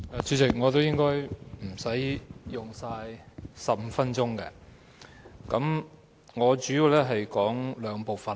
主席，我也應該不會用盡15分鐘的發言時間。